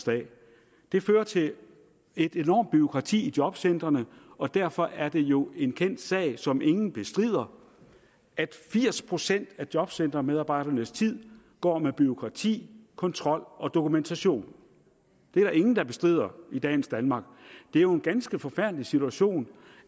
det fører til et enormt bureaukrati i jobcentrene og derfor er det jo en kendt sag som ingen bestrider at firs procent af jobcentermedarbejdernes tid går med bureaukrati kontrol og dokumentation det er der ingen der bestrider i dagens danmark det er jo en ganske forfærdelig situation